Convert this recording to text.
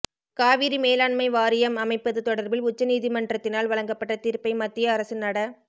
காவிரி மேலாண்மை வாரியம் அமைப்பது தொடர்பில் உச்ச நீதிமன்றத்தினால் வழங்கப்பட்ட தீர்ப்பை மத்திய அரசு நட